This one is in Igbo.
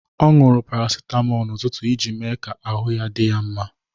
Ọ owuru paracetamol n'ụtụtụ iji mee ka ahụ dị ya mma